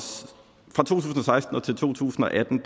seksten til to tusind og atten